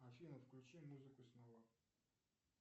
афина включи музыку снова